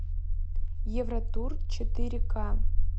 евротур четыре ка